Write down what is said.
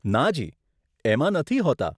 નાજી, એમાં નથી હોતાં.